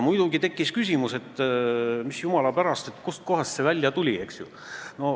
Muidugi tekkis küsimus, et, jumala pärast, kust kohast see välja tuli.